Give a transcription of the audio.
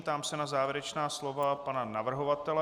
Ptám se na závěrečná slova pana navrhovatele.